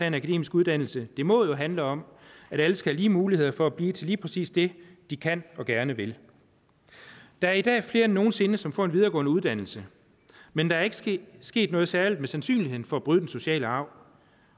en akademisk uddannelse det må jo handle om at alle skal have lige muligheder for at blive lige præcis det de kan og gerne vil der er i dag flere end nogen sinde som får en videregående uddannelse men der er ikke sket sket noget særligt med sandsynligheden for at bryde den sociale arv